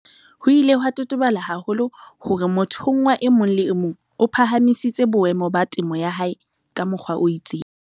Ho ile ha totobala haholo hore mothonngwa e mong le e mong o phahamisitse boemo ba temo ya hae ka mokgwa o itseng.